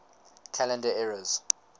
calendar eras